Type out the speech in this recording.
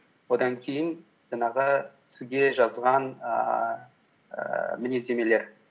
одан кейін жаңағы сізге жазған ііі мінездемелер